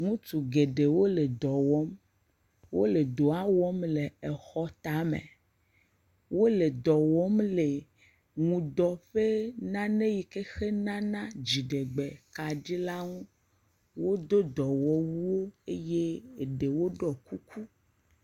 Ŋutsu geɖewo le dɔwɔm wole dɔa wɔm le xɔtame, wole dɔ wɔm le ŋudɔ ƒe nane yi ke nane dziɖegbekaɖi la ŋu, wodo dɔwɔwu eye geɖe ɖo kuku.